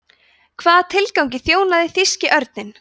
hvaða tilgangi þjónaði þýski örninn